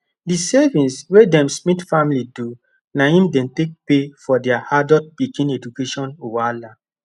the savings wey them smiths family do na him dey take pay for their adult pikin education wahala